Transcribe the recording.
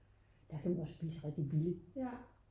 der kan man også spise rigtig billigt